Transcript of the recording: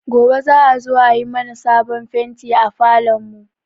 Gobe za a zo a yi mana sabon fenti a falon mu